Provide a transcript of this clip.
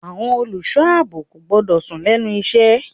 Àwọn olùṣọ́ àbò kò gbọ́dọ̀ sùn lẹ́nu iṣẹ́.